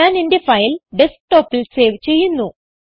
ഞാൻ എന്റെ ഫയൽ Desktopൽ സേവ് ചെയ്യുന്നു